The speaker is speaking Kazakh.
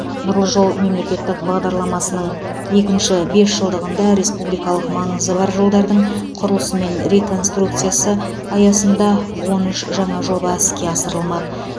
нұрлы жол мемлекеттік бағдарламасының екінші бес жылдығында республикалық маңызы бар жолдардың құрылысы мен реконструкциясы аясында он үш жаңа жоба іске асырылмақ